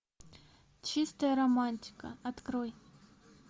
чистая романтика открой